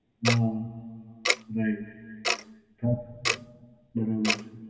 ના, right. હાં, બરાબર છે.